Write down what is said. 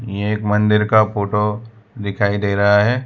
ये एक मंदिर का फोटो दिखाई दे रहा है।